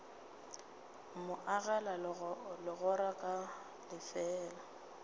mo agela legora ka lefeela